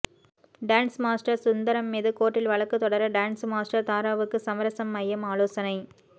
dance master Sundaram மீது கோர்ட்டில் வழக்கு தொடர டான்ஸ் மாஸ்டர் தாராவுக்கு சமரசம் மையம் ஆலோசனை